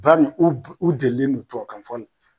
Banni u u delilen do tubabukan fɔ la.